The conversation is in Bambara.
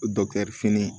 fini